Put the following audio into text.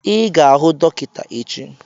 Ị ga-ahụ dọkịta echi